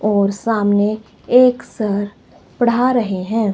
और सामने एक सर पढ़ा रहे है।